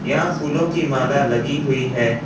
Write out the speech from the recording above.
यहां फूलों की माला लगी हुई है।